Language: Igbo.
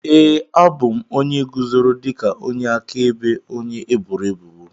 Ee, abụ m onye guzoro dịka onye akaebe onye eboro ebubo.